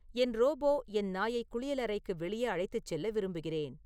என் robot என் நாயை குளியலறைக்கு வெளியே அழைத்துச் செல்ல விரும்புகிறேன்